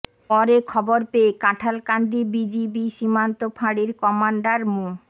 পরে খবর পেয়ে কাঁঠালকান্দি বিজিবি সীমান্ত ফাঁড়ির কমান্ডার মো